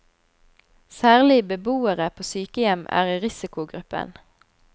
Særlig beboere på sykehjem er i risikogruppen.